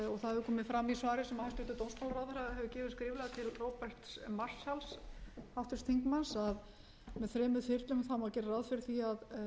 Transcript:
hefur komið fram í svari sem hæstvirtur dómsmálaráðherra hefur gefið skriflega til háttvirts þingmanns róberts marshall að með þremur þyrlum má gera ráð fyrir því að